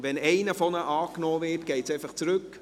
Wenn einer der beiden angenommen wird, geht es zurück.